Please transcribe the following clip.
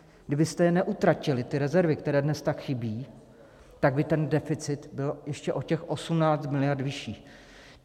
Kdybyste je neutratili, ty rezervy, které dnes tak chybí, tak by ten deficit byl ještě o těch 18 mld. vyšší.